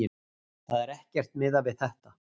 Það var ekkert miðað við þetta